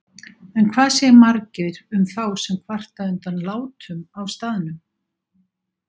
En hvað segir Margeir um þá sem kvarta undan látum á staðnum?